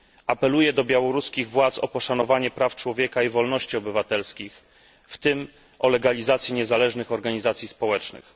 Apeluję do władz białoruskich o poszanowanie praw człowieka i wolności obywatelskich, w tym o legalizację niezależnych organizacji społecznych.